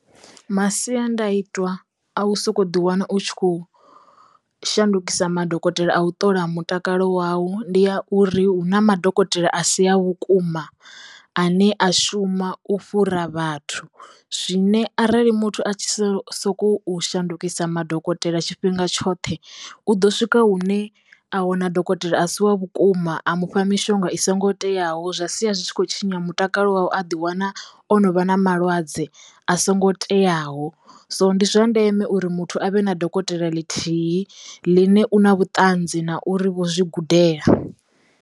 Masiandaitwa a u soko ḓi wana u tshi khou shandukisa madokotela a u ṱola mutakalo wawu ndi a uri hu na madokotela a si a vhukuma ane a shuma u fhura vhathu zwine arali muthu a tshi so sokou shandukisa madokotela tshifhinga tshoṱhe u ḓo swika hune a wana dokotela a si wa vhukuma a mufha mishonga i songo teyaho zwa sia zwi tshi khou tshinya mutakalo wawe a ḓiwana o no vha na malwadze a songo teyaho so ndi zwa ndeme uri muthu avhe na dokotela ḽithihi ḽine u na vhuṱanzi na uri vho zwi gudela.